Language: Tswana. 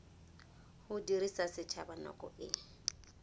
go dirisa setsha nako e